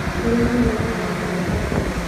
Nĩũraiguire ũhoro wa mũtino wa taxi ira?